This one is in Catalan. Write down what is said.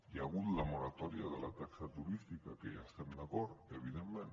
hi ha hagut la moratòria de la taxa turística que hi estem d’acord evidentment